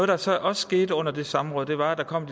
der så også skete under det samråd var at der kom